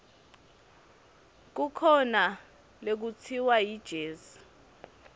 kukhona lekutsiwa yijezi